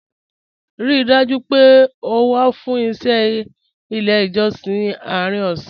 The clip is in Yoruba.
Ríì dájú pé ó wà fún iṣẹ̀ ilẹ̀ ijọ̀ṣìn àárín ọ̀ṣẹ́